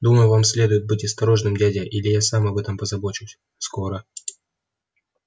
думаю вам следует быть осторожным дядя или я сам об этом позабочусь скоро